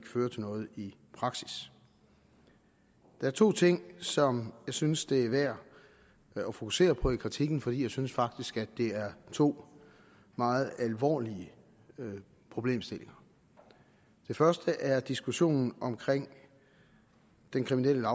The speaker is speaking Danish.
fører til noget i praksis der er to ting som jeg synes det er værd at fokusere på i kritikken for jeg synes faktisk at det er to meget alvorlige problemstillinger det første er diskussionen om den kriminelle